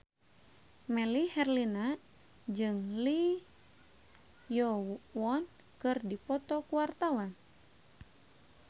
Melly Herlina jeung Lee Yo Won keur dipoto ku wartawan